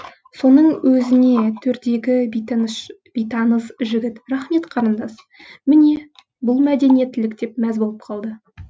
соның өзіне төрдегі бейтаныс жігіт рахмет қарындас міне бұл мәдениеттілік деп мәз боп қалды